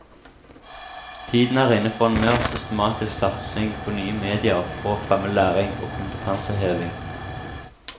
Tiden er inne for en mer systematisk satsing på nye medier for å fremme læring og kompetanseheving.